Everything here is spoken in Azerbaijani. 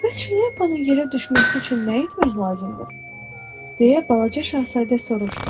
Bəs şlyapanın yerə düşməsi üçün nə etmək lazımdır, deyə Balaca Şahzadə soruşdu.